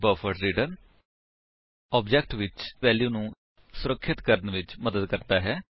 buffered reader buffered reader object ਵਿੱਚ value ਸੁਰਖਿਅਤ ਕਰਣ ਵਿੱਚ ਮਦਦ ਕਰਦਾ ਹੈ